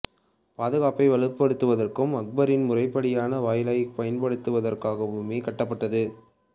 பாதுகாப்பை வலுப்படுத்துவதற்கும் அக்பரின் முறைப்படியான வாயிலாகப் பயன்படுத்துவதற்காகவுமே இது கட்டப்பட்டது